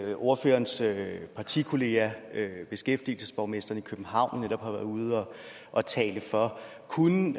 at ordførerens partikollega beskæftigelsesborgmesteren i københavn netop har været ude at tale for kunne